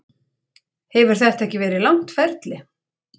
Hefur þetta ekki verið langt ferli?